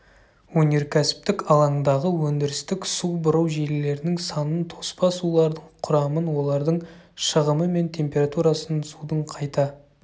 өнеркәсіптік алаңдағы өндірістік су бұру желілерінің санын тоспа сулардың құрамын олардың шығымы мен температурасын судың қайта